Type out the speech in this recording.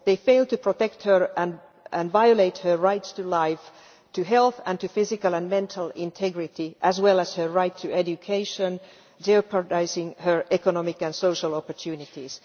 They fail to protect her and violate her right to life, to health and to physical and mental integrity, as well as her right to education, jeopardising her economic and social opportunities.